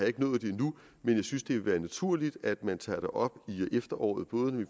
ikke nået det endnu men jeg synes det vil være naturligt at man tager det op i efteråret både når vi